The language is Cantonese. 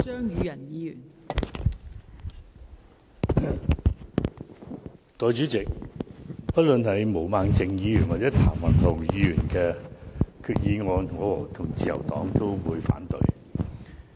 代理主席，不論是毛孟靜議員或譚文豪議員的議案，我與自由黨都會反對。